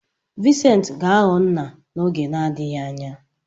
Vincent ga-aghọ nna n'oge na-adịghị anya.